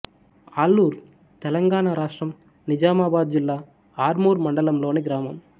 ఆలూర్ తెలంగాణ రాష్ట్రం నిజామాబాద్ జిల్లా ఆర్మూర్ మండలంలోని గ్రామం